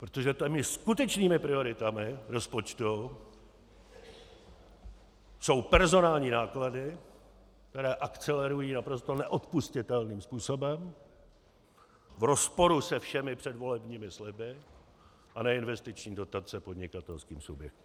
Protože těmi skutečnými prioritami rozpočtu jsou personální náklady, které akcelerují naprosto neodpustitelným způsobem v rozporu se všemi předvolebními sliby, a neinvestiční dotace podnikatelským subjektům.